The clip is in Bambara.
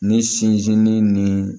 Ni sinsinni